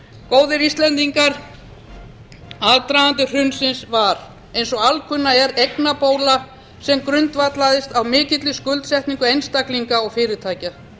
góðir íslendingar aðdragandi hrunsins var eins og alkunna er eignabóla sem grundvallaðist á mikilli skuldsetningu einstaklinga og fyrirtækja